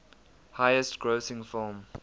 highest grossing film